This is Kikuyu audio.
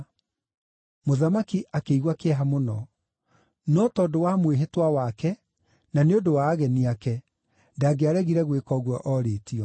Mũthamaki akĩigua kĩeha mũno, no tondũ wa mwĩhĩtwa wake na nĩ ũndũ wa ageni ake, ndangĩaregire gwĩka ũguo orĩtio.